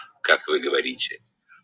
как вы говорите